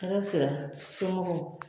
Hɛrɛ sira, sɔmɔgɔw?